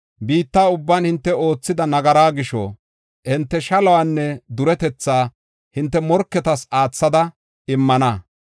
Biitta ubban hinte oothida nagaraa gisho, hinte shaluwanne duretetha hinte morketas aathada immana.